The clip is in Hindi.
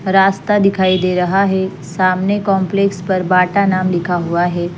रास्ता दिखाई दे रहा है सामने काम्प्लेक्स पर बाटा नाम लिखा हुआ है।